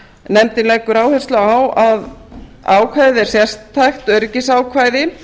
nefndin leggur áherslu á að ákvæðið er sértækt öryggisákvæði